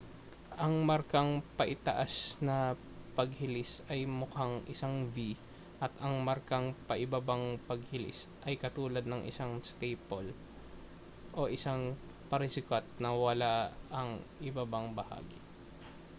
ang markang paitaas na paghilis ay mukhang isang v at ang markang paibabang paghilis ay katulad ng isang staple o isang parisukat na wala ang ibabang bahagi